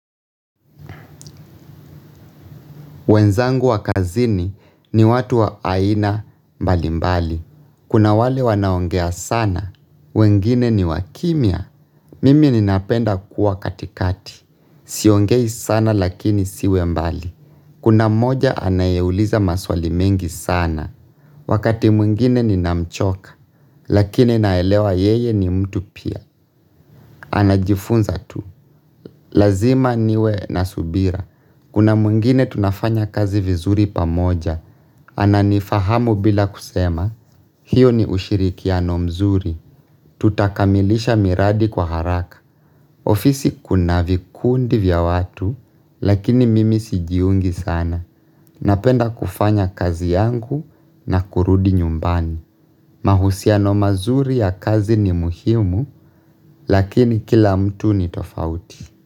Wenzangu wa kazini ni watu wa aina mbali mbali. Kuna wale wanaongea sana. Wengine ni wakimya. Mimi ninapenda kuwa katikati. Siongei sana lakini siwe mbali. Kuna mmoja anayeuliza maswali mengi sana. Wakati mwingine ninamchoka. Lakini naelewa yeye ni mtu pia. Anajifunza tu. Lazima niwe na subira. Kuna mwingine tunafanya kazi vizuri pamoja. Ananifahamu bila kusema. Hiyo ni ushirikiano mzuri. Tutakamilisha miradi kwa haraka. Ofisi kuna vikundi vya watu, lakini mimi sijiungi sana. Napenda kufanya kazi yangu na kurudi nyumbani. Mahusiano mazuri ya kazi ni muhimu, lakini kila mtu ni tofauti.